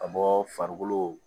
Ka bɔ farikolo